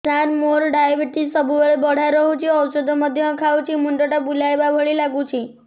ସାର ମୋର ଡାଏବେଟିସ ସବୁବେଳ ବଢ଼ା ରହୁଛି ଔଷଧ ମଧ୍ୟ ଖାଉଛି ମୁଣ୍ଡ ଟା ବୁଲାଇବା ଭଳି ଲାଗୁଛି